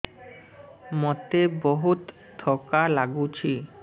ମୋତେ ବହୁତ୍ ଥକା ଲାଗୁଛି